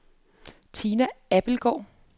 Tina Abildgaard